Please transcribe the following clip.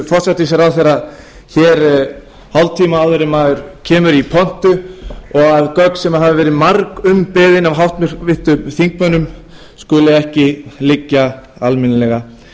forsætisráðherra hér hálftíma áður en maður kemur í pontu og að gögn sem hafa verið margumbeðin af háttvirtum þingmönnum skuli ekki liggja almennilega